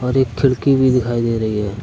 एक खिड़की भी दिखाई दे रही है।